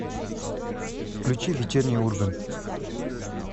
включи вечерний ургант